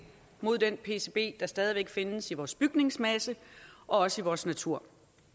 mod den pcb der stadig væk findes i vores bygningsmasse og også i vores natur